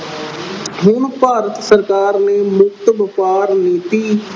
ਹੁਣ ਭਾਰਤ ਸਰਕਾਰ ਨੇ ਮੁਕਤ ਵਪਾਰ ਨੀਤੀ